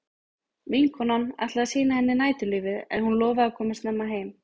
Vinkonan ætlaði að sýna henni næturlífið en hún lofaði að koma snemma heim.